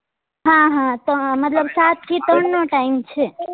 હા હા તો મતલબ સાત થી ત્રણ નો time છે